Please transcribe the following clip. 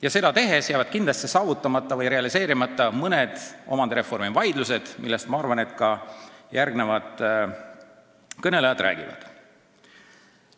Ja seda tehes jäävad kindlasti saavutamata või realiseerimata mõned omandireformiga seotud soovid, millest, ma arvan, järgmised kõnelejad ka räägivad.